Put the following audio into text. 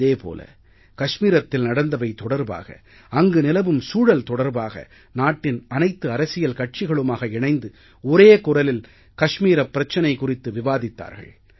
அதே போல கஷ்மீரத்தில் நடந்தவை தொடர்பாக அங்கு நிலவும் சூழல் தொடர்பாக நாட்டின் அனைத்து அரசியல் கட்சிகளுமாக இணைந்து ஒரே குரலில் காஷ்மீரப் பிரச்சனை குறித்து விவாதித்தார்கள்